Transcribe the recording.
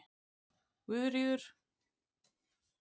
Guðríður